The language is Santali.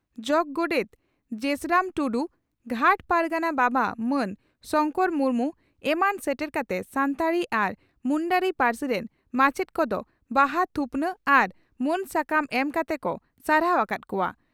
ᱜᱷᱟᱴ ᱯᱟᱨᱜᱟᱱᱟ ᱵᱟᱵᱟ ᱢᱟᱱ ᱥᱚᱝᱠᱚᱨ ᱢᱩᱨᱢᱩ ᱮᱢᱟᱱ ᱥᱮᱴᱮᱨ ᱠᱟᱛᱮ ᱥᱟᱱᱛᱟᱲᱤ ᱟᱨ ᱢᱩᱱᱰᱟᱹᱨᱤ ᱯᱟᱹᱨᱥᱤ ᱨᱤᱱ ᱢᱟᱪᱮᱛ ᱠᱚᱫᱚ ᱵᱟᱦᱟ ᱛᱷᱩᱯᱱᱟᱜ ᱟᱟᱨ ᱢᱟᱹᱱ ᱥᱟᱠᱟᱢ ᱮᱢ ᱠᱟᱛᱮ ᱠᱚ ᱥᱟᱨᱦᱟᱣ ᱟᱠᱟᱫ ᱠᱚᱣᱟ ᱾